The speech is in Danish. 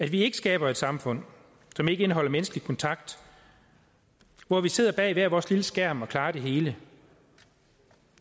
vi skaber et samfund som ikke indeholder menneskelig kontakt og hvor vi sidder bag hver vores lille skærm og klarer det hele